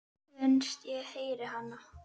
Finnst ég heyra hana.